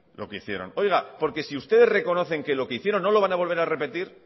lo que hicieron oiga porque si ustedes reconocen que lo que hicieron no lo van a volver a repetir